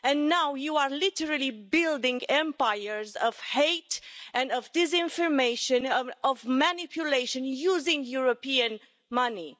And now you are literally building empires of hate, of disinformation and of manipulation using European money.